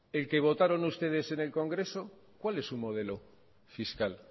el que votaron ustedes en el congreso cuál es su modelo fiscal